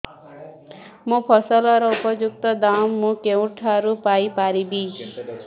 ମୋ ଫସଲର ଉପଯୁକ୍ତ ଦାମ୍ ମୁଁ କେଉଁଠାରୁ ପାଇ ପାରିବି